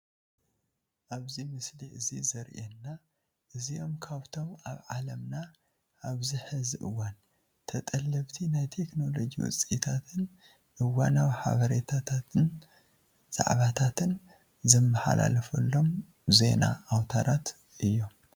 ኣብዚ ምስሊ እዚ ዘሪኤና እዚኦም ካብቶም ኣብ ዓለምና ኣብዚ ሕዚ እዋን ተጠለብቲ ናይ ቴክኖሎጂ ውፅኢትን እዋናዊ ሓበሬታታን ዛዕባታትን ዝመሓላለፎሎም ዜና ኣውታራት እዮም፡፡